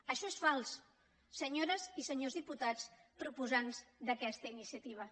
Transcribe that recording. això és fals senyores i senyors diputats proposants d’a questa iniciativa